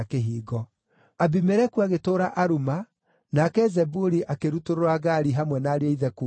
Abimeleku agĩtũũra Aruma, nake Zebuli akĩrutũrũra Gaali hamwe na ariũ a ithe kuuma Shekemu.